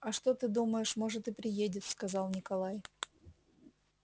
а что ты думаешь может и приедет сказал николай